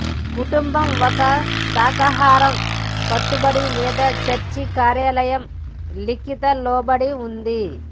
కుటుంబం ఒక శాఖాహారం కట్టుబడి లేదా చర్చి కార్యాలయం లిఖిత లోబడి ఉంది